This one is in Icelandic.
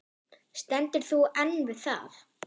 Stendur þú enn við það?